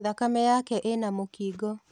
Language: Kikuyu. Thakame yake ĩna mũkingo.